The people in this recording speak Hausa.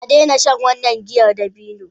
A daina shan wannan giyar dabino!